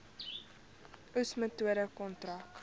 oes metode kontrak